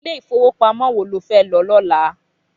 Ilé ifówópámò wó ló fè lò lòlá?